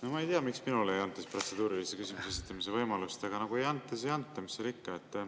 No ma ei tea, miks minule ei anta protseduurilise küsimuse esitamise võimalust, aga kui ei anta, siis ei anta, mis seal ikka.